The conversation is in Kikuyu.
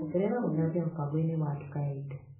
Ongerera gũthambia mũbango-inĩ wa nduka ya indo.